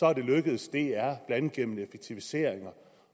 er det lykkedes dr blandt andet gennem effektiviseringer og